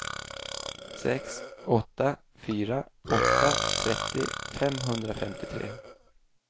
sex åtta fyra åtta trettio femhundrafemtiotre